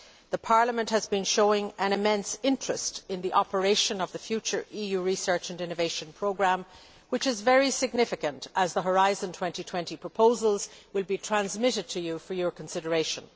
The Parliament has been showing an immense interest in the operation of the future EU research and innovation programme, which is very significant as the Horizon 2020 proposals will be transmitted to you for your consideration.